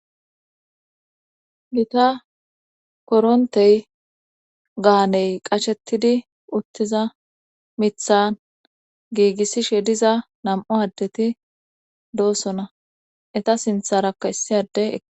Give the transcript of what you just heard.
gita korontey gaaney qashettidi uttiza mithan giigissishe diza nam7u addeti doossona eta sintharakka issiyade ek